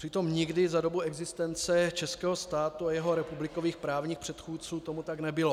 Přitom nikdy za dobu existence českého státu a jeho republikových právních předchůdců tomu tak nebylo.